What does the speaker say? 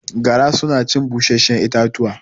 Gara suna cin busasshun itatuwa